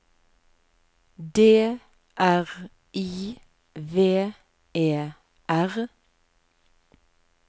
D R I V E R